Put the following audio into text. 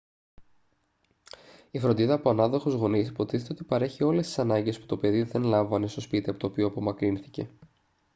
η φροντίδα από ανάδοχους γονείς υποτίθεται ότι παρέχει όλες τις ανάγκες που το παιδί δεν λάμβανε στο σπίτι από το οποίο απομακρύνθηκε